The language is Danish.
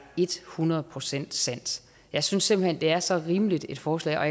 et hundrede procent sandt jeg synes simpelt hen det er så rimeligt et forslag og